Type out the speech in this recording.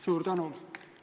Suur tänu!